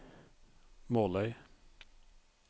Måløy